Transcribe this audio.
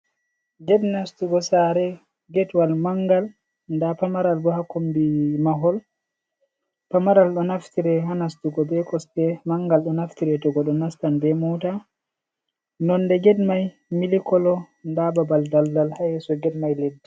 Gate nastugo sare, Gate wall mangal nda pamaral bo ha kombi mahol. Pamaral do naftire ha nastugo be kosde, mangal do naftire to goɗɗo nastan be mota. Nonde get mai milik colo, Nda babal daldal ha yeso get mai.